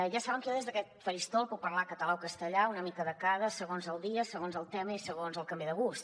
ja saben que jo des d’aquest faristol puc parlar català o castellà una mica de cada segons el dia segons el tema i segons el que em ve de gust